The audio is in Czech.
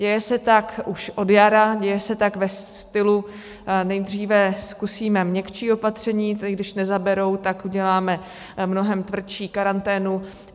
Děje se tak už od jara, děje se tak ve stylu: nejdříve zkusíme měkčí opatření, když nezaberou, tak uděláme mnohem tvrdší karanténu.